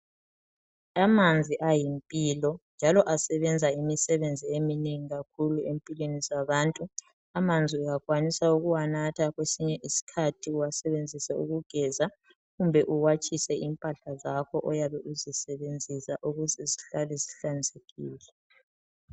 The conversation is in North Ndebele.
Amanzi ayimpilo njalo asebwnza imisebenzi eminengi kakhulu empilweni zabantu. Amanzi uyakwanisa ukuwanatha, kwesinye isikhathi uwasebenzise ukugeza kumbe uwatshise impahla zakho oyabe uzisebenzisa ukuze zihlale zihlanzekile.